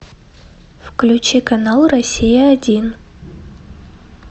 включи канал россия один